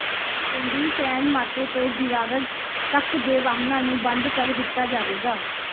ਕੇਂਦਰੀ San Mateo ਤੋਂ Girard ਤੱਕ ਦੇ ਵਾਹਨਾਂ ਨੂੰ ਬੰਦ ਕਰ ਦਿੱਤਾ ਜਾਵੇਗਾ